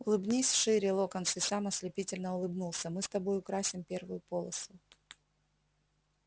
улыбнись шире локонс и сам ослепительно улыбнулся мы с тобой украсим первую полосу